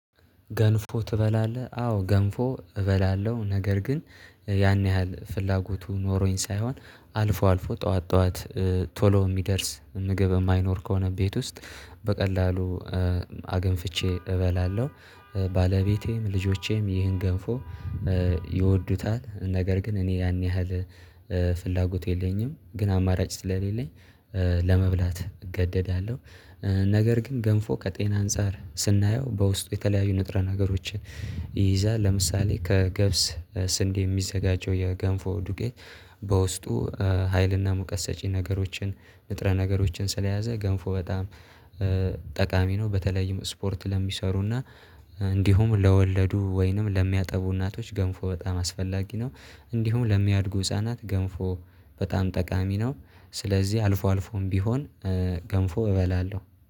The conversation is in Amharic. ገንፎ ትበላለህ? አዎ ገንፎ እበላለሁ ነገር ግን ያን ያህል ፍላጎቱ ኖሮኝ ሳይሆን አልፎ አልፎ ጠዋት ጠዋት ቶሎ የሚደርስ ምግብ የማይኖር ከሆነ ቤት ውስጥ በቀላሉ አገንፍቼ እበላለሁ። ባለቤቴም ልጆቼም ይህን ገንፎ ይወዱታል ነገር ግን እኔ ያን ያህል ፍላጎት የለኝም ግን አማራጭ ስለሌለኝ ለመብላት እገደዳለሁ። ነገር ግን ገንፎ ከጤና አንፃር ስናየው በውስጡ የተለያዩ ንጥረ ነገሮችን ይይዛል ለምሳሌ ከገብስ በስንዴ የሚዘጋጀው የገንፎ ዱቄት በውስጡ ሀይልና ሙቀት ሰጪ ነገሮችን ንጥረ ነገሮችን ስለያዘ ገንፎ በጣም ጠቃሚ ነው። በተለይም ስፖርት ለሚሰሩና እንዲሁም ለወለዱ ወይንም ለሚያጠቡ እናቶች ገንፎ በጣም አስፈላጊ ነው። እንዲሁም ለሚያድጉ ህፃናት ገንፎ በጣም ጠቃሚ ነው። ስለዚህ አልፎ አልፎም ቢሆን ገንፎ እበላለሁ